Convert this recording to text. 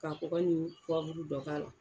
Ka kɔgɔ ni dɔ k'a la.